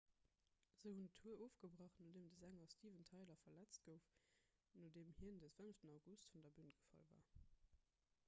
se hunn d'tour ofgebrach nodeem de sänger steven tyler verletzt gouf nodeem hien de 5 august vun der bün gefall war